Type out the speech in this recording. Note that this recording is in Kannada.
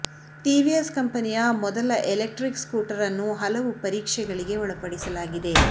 ಟಿವಿಎಸ್ ಕಂಪನಿಯ ಮೊದಲ ಎಲೆಕ್ಟ್ರಿಕ್ ಸ್ಕೂಟರ್ ಅನ್ನು ಹಲವು ಪರೀಕ್ಷೆಗಳಿಗೆ ಒಳಪಡಿಸಲಾಗಿದೆ